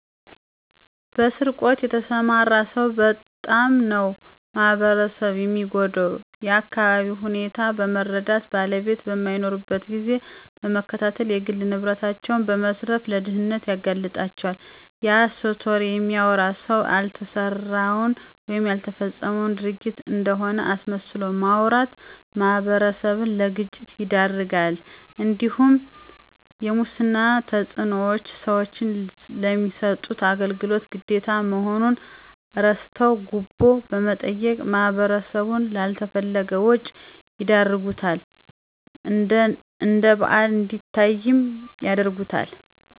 በስርቆት የተሰማራ ሰው በጣም ነው ማህበረሰብን የሚጎዳው የአካቢውን ሁኔታ በመረዳት ባለቤቶች በማይኖሩበት ጊዜ በመከታተል የግል ንብረታቸውን በመዝረፍ ለድህነት ያጋልጣቸዋል፤ የሐሰት ወሬ የሚያወራ ሰው ያልተሰራን ወይም ያልተፈጸመን ድርጊት እንደሆነ አስመስሎ በማውራት ማህበረሰብን ለግጭት ይዳርጋልእንዲሁም የሙስና ተጽዕኖዎች ሰዎች ለሚሰጡት አገልግሎት ግዴታ መሆኑን እረስተው ጉቦ በመጠየቅ ማህበረሰቡን ላልተፈለገ ወጭ ይዳርጉታል እነደባል እንዲታይም ያረጉታል።